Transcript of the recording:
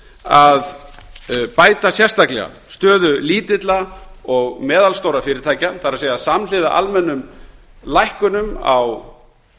að bæta sérstaklega stöðu lítilla og meðalstórra fyrirtækja það er samhliða almennum lækkunum á